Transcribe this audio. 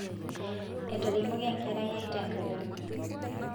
etaremoki enkerai ai te nkalem